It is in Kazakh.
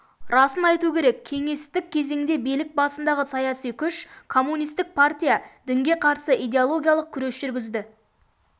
расын айту керек кеңестік кезеңде билік басындағы саяси күш комунистік партия дінге қарсы идеологиялық күрес жүргізді